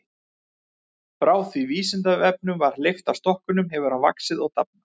Frá því að Vísindavefnum var hleypt af stokkunum hefur hann svo vaxið og dafnað.